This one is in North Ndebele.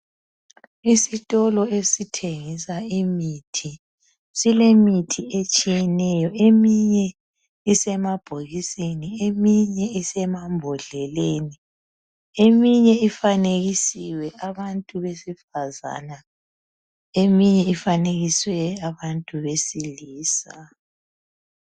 Isitolo esithengisa imithi silemithi etshiyeneyo. Eminye isemabhokisini, eminye isemambodleleni. Eminye ifanekisiwe abantu besifazana, eminye ifanekiswe abantu besilisa.